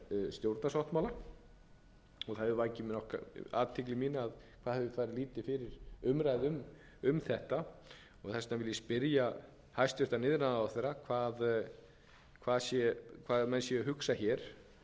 stjórnarsáttmála og það hefur vakið athygli mína hvað hefur farið lítið fyrir umræðu um þetta og þess vegna vil ég spyrja hæstvirtur iðnaðarráðherra hvað menn séu að hugsa varðandi hvers konar aðgangseyri er hér um